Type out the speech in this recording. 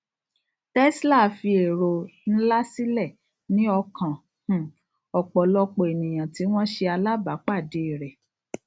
tesla fi ero nlá silẹ ní ọkàn um ọpọlọpọ ènìyàn tí wọn ṣe alábá pàdé rẹ